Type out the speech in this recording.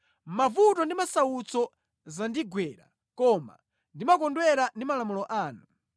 Mavuto ndi masautso zandigwera, koma ndimakondwera ndi malamulo anu.